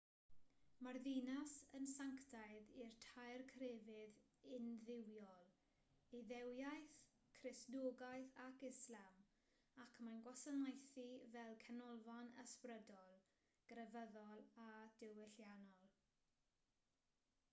mae'r ddinas yn sanctaidd i'r tair crefydd undduwiol iddewiaeth cristnogaeth ac islam ac mae'n gwasanaethu fel canolfan ysbrydol grefyddol a diwylliannol